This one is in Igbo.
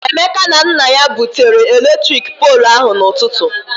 Emeka na nna ya butere eletrik poolụ ahụ na-ụtụtụ.